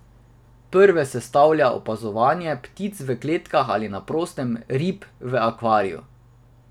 Prve sestavlja opazovanje ptic v kletkah ali na prostem, rib v akvariju ...